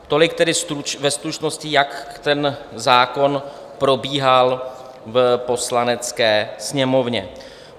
Tolik tedy ve stručnosti, jak ten zákon probíhal v Poslanecké sněmovně.